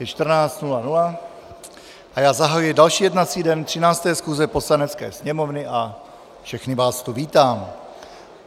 Je 14.00 a já zahajuji další jednací den 13. schůze Poslanecké sněmovny a všechny vás tu vítám.